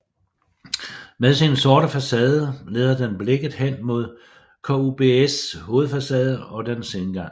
Med sin sorte facade leder den blikket hen mod KUBS hovedfacade og dens indgang